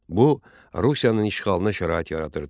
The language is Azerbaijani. Bu Rusiyanın işğalına şərait yaradırdı.